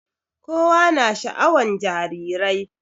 Kowa na sha'awan jarirai